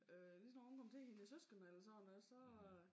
Øh lige så snart hun kom til hendes søskende eller sådan noget så